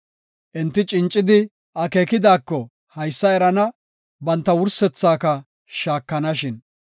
Enti cincidi akeekidako haysa erana, banta wursethaka shaakanashin.